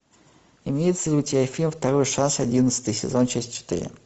имеется ли у тебя фильм второй шанс одиннадцатый сезон часть четыре